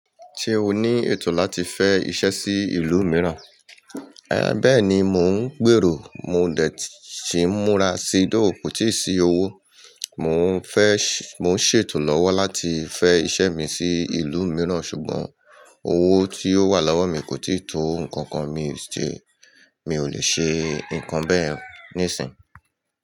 Ṣé o ní ètò láti fẹ iṣẹ́ sí ìlú mìíràn? Ẹ̀, bẹ́ẹ̀ni mò ń gbèrò, mo dẹ̀ tíì múra sí dó kòtì sí owó, mò ń ṣètò lọ́wọ́ láti fẹ́ iṣẹ́ mi sí ìlú mìíràn ṣùgbọ́n owó tí ó wà lọ́wọ́ mi kò tíì tó nǹkan kan, mi ò lè ṣe nǹkan bẹ́ẹ̀ níìsín.